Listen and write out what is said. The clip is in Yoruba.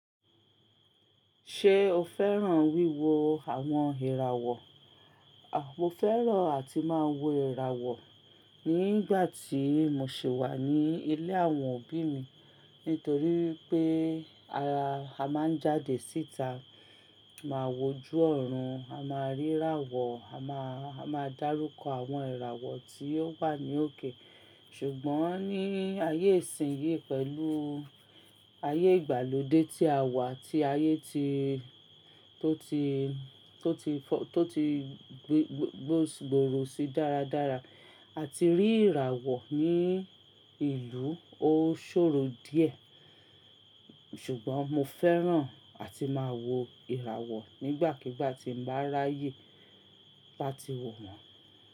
Ṣé o fẹ́ràn wíwo àwọn ìràwọ̀? Mo fẹ́ràn àti máa wo ìràwọ̀ nígbà tí mo ṣi wà ní ilé àwọn òbí mi nítorí pé a máa ń jáde síta, máa wò ju ọ̀run, a máa rí ìràwọ̀, a máa, a máa dárúkọ àwọn ìràwọ̀ tí ó wà ní òkè. Ṣùgbọ́n ní ayé ìsìnyí pẹ̀lú ayé ìgbàlódé tí a wà tí ayé ti, tó ti, tó ti fọ, tó ti gbó, gbó, gbòòrò sí dáradára, a ti rí ìràwọ̀ ní ìlú ó ṣòro díẹ̀. Ṣùgbọ́n mo fẹ́ràn àti máa wo ìràwọ̀ nígbàkigbà tí mbá ráyè lá ti wo wọ́n.